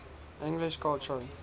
english culture